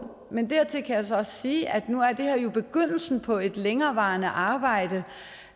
men dertil kan jeg så også sige at nu er det her jo begyndelsen på et længerevarende arbejde